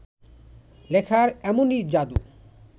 লেখার এমনই যাদু